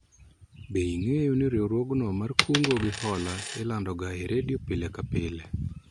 Be ing'eyo ni riwruogno mar kungo gi hola ilando ga e redio pile ka pile?